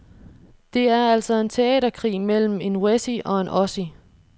Det er altså en teaterkrig mellem en wessie og en ossie.